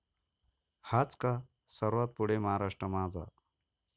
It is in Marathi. हाच का 'सर्वात पुढे महाराष्ट्र माझा'?